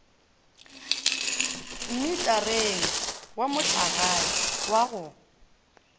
mmitareng wa mohlagae wa go